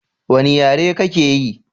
Wani yare ka ke yi?